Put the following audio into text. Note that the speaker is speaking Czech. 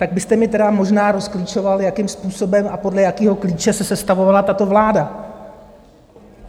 Tak byste mi tedy možná rozklíčoval, jakým způsobem a podle jakého klíče se sestavovala tato vláda.